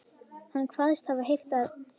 Hann kvaðst hafa heyrt að